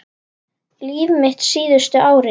Líf mitt síðustu árin.